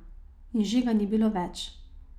In že ga ni bilo več.